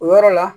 O yɔrɔ la